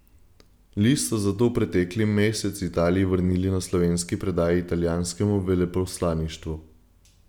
List so zato pretekli mesec Italiji vrnili na slovenski predaji italijanskem veleposlaništvu.